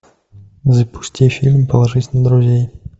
запусти фильм положить на друзей